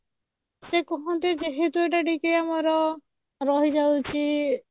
ସେ କୁହନ୍ତି ଯେହେତୁ ଏଇଟା ଟିକେ ଆମର ରହିଯାଉଛି